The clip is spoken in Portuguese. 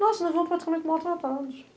Nossa, nós fomos praticamente maltratados.